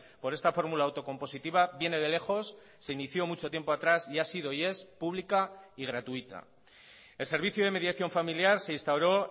por esta fórmula autocompositiva viene de lejos se inició mucho tiempo atrás y ha sido y es pública y gratuita el servicio de mediación familiar se instauró